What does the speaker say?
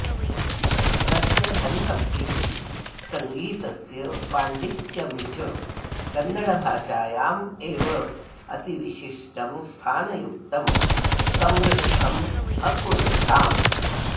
तस्य हरिभक्तिः सङ्गीतस्य पाण्डित्यं च कन्नडभाषायाम् एव अतिविशिष्टं स्थानयुक्तं समृद्धम् अकुरुताम्